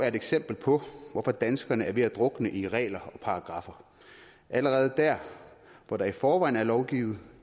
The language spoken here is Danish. et eksempel på hvorfor danskerne er ved at drukne i regler og paragraffer og allerede der hvor der i forvejen er lovgivning